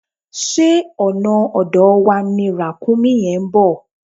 Ṣé ọ̀nà ọ̀dọ̀ wa ni Ràkúnmí yẹn ń bọ̀?